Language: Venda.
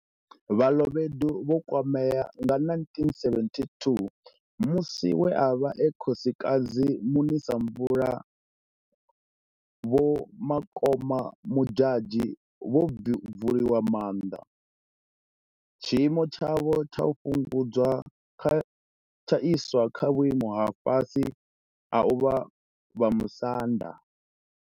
Balobedu vho kwamea nga 1972 musi we a vha e Khosikadzi Munisamvula Vho Makoma Modjadji vho bvuliwa maanḓa, tshiimo tshavho tsha fhungudzwa tsha iswa kha vhuimo ha fhasi ha u vha Vhamusanda.